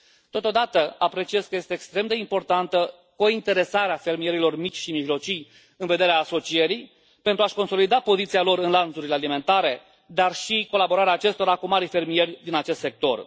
Totodată, apreciez că este extrem de importantă cointeresarea fermierilor mici și mijlocii în vederea asocierii, pentru a și consolida poziția lor în lanțurile alimentare, dar și colaborarea acestora cu marii fermieri din acest sector.